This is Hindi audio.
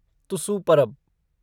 तुसु परब